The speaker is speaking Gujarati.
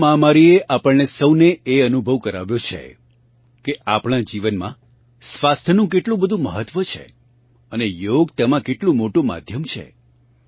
કોરોના મહામારીએ આપણને સૌને એ અનુભવ કરાવ્યો છે કે આપણાં જીવનમાં સ્વાસ્થ્યનું કેટલું બધું મહત્વ છે અને યોગ તેમાં કેટલું મોટું માધ્યમ છે